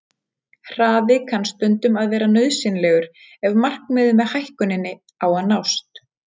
Hraði kann stundum að vera nauðsynlegur ef markmiðið með hækkuninni á að nást.